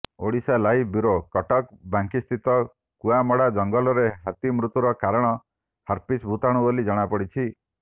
Odisha live bureau Cuttack ବାଙ୍କୀସ୍ଥିତ କୂଅମଡ଼ା ଜଙ୍ଗଲରେ ହାତୀ ମୃତ୍ୟୁର କାରଣ ହାର୍ପିସ ଭୂତାଣୁ ବୋଲି ଜଣାପଡ଼ିଛି